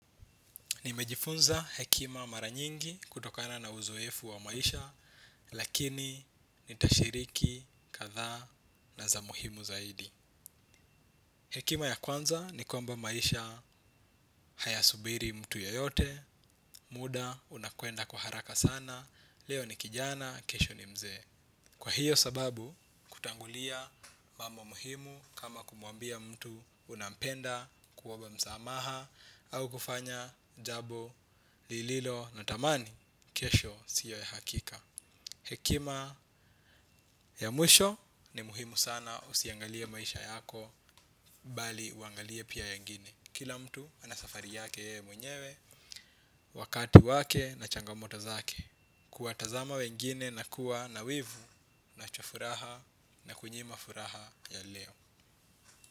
Nimejifunza hekima mara nyingi kutokana na uzoefu wa maisha, lakini nitashiriki kadhaa na za muhimu zaidi. Hekima ya kwanza ni kwamba maisha hayasubiri mtu yoyote, muda unakwenda kwa haraka sana, leo ni kijana, kesho ni mzee. Kwa hiyo sababu, kutangulia mambo muhimu kama kumwambia mtu unampenda kuomba msamaha au kufanya jambo lililo na thamani, kesho sio ya hakika. Hekima ya mwisho ni muhimu sana usiangalie maisha yako bali uangalia pia ya wengine. Kila mtu anasafari yake ye mwenyewe, wakati wake na changamoto zake. Kuwatazama wengine na kuwa na wivu nacho furaha, inakunyima furaha ya leo.